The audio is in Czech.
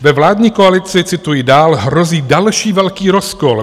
Ve vládní koalici, cituji, dál hrozí další velký rozkol.